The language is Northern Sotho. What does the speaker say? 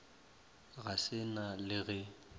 ga se na le ge